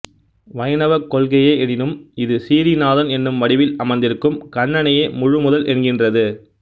வைணவக் கொள்கையே எனினும் இது சிறீநாதன் என்னும் வடிவில் அமர்ந்திருக்கும் கண்ணனையே முழுமுதல் என்கின்றது